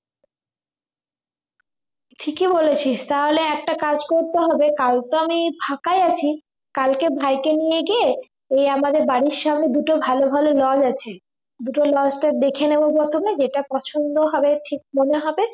ঠিকই বলেছিস তাহলে একটা কাজ করতে হবে কাল তো আমি ফাঁকাই আছি কালকে ভাইকে নিয়ে গিয়ে এই আমাদের বাড়ির সামনে দুটো ভালো ভালো lodge আছে দুটো lodge তো দেখে নেব প্রথমে যেটা পছন্দ হবে ঠিক মনে হবে